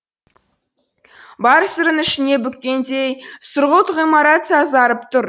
бар сырын ішіне бүккендей сұрғылт ғимарат сазарып тұр